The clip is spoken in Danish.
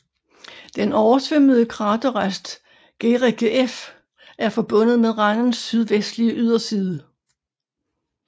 Den oversvømmede kraterrest Guericke F er forbundet med randens sydvestlige yderside